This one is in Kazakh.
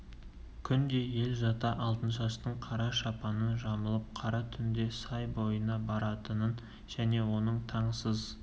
күнде ел жата алтыншаштың қара шапанын жамылып қара түнде сай бойына баратынын және оның таң сыз